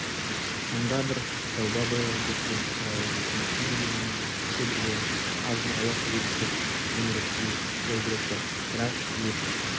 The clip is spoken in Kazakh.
мыңда бір тәуба биылғы көктем шырайлы өкіметтің көмегімен себілген азын-аулақ егістік зүміреттей жәудіреп тұр бірақ ел